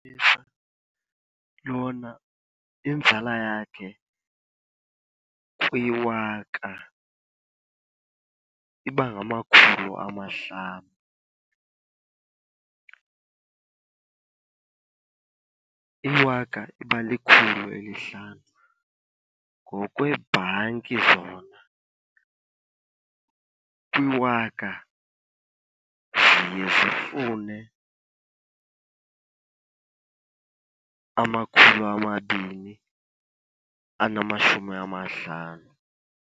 Yona inzala yakhe kwiwaka iba ngamakhulu amahlanu. Iwaka iba likhulu elihlanu. Ngokweebhanki zona kwiwaka ziye zifune amakhulu amabini anamashumi amahlanu.